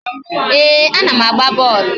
Ee, a na m agba bọọlụ